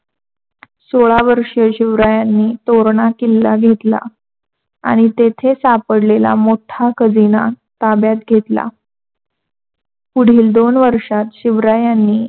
सोळा वर्षे शिवरायांनी तोरणा किल्ला घेतला आणि तेथे सापडलेला मोठा खजिना ताब्यात घेतलला. पुढील दोन वर्षात शिवरायांनी